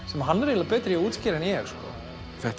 sem hann er betri í að útskýra en ég þetta